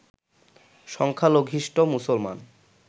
সংখ্যালঘিষ্ট মুসলমান